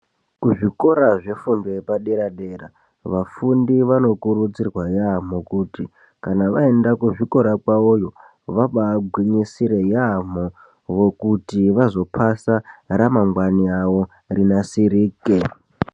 Kuzvikora zvefundo yepadera-dera vafundi vanokurudzirwa yaamho kuti kana vaenda kuzvikora kwavoyo vabaagwinyisire yaamho kuti vazopasa, ramangwani ravo rinasirike.